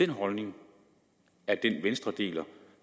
den holdning venstre deler